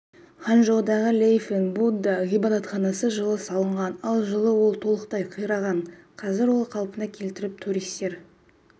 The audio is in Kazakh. ханчжоудағы лэйфэнт будда ғибадатханасы жылы салынған ал жылы ол толықтай қираған қазір ол қалпына келтіріліп туристер